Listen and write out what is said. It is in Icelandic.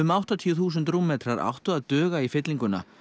áttatíu þúsund rúmmetrar áttu að duga í fyllinguna